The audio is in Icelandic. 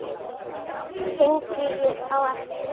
Hringi á eftir